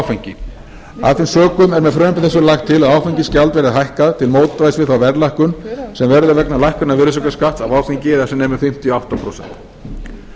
áfengi af þeim sökum er með frumvarpi þessu lagt til að áfengisgjald verði hækkað til mótvægis við þá verðlækkun sem verður vegna lækkunar virðisaukaskatts af áfengi eða sem nemur fimmtíu og átta prósent